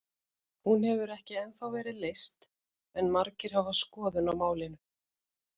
Hún hefur ekki ennþá verið leyst en margir hafa skoðun á málinu.